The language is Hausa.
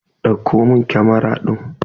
Dauko min camara din!